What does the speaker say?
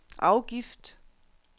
afgift